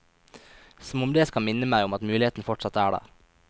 Som om det skal minne meg om at muligheten fortsatt er der.